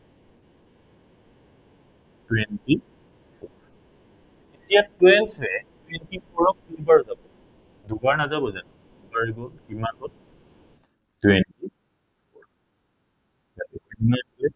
twenty four এতিয়া twelve এ twenty four ক কেইবাৰ যাব, দুবাৰ নাযাব জানো? দুবাৰ গল, কিমান হল twenty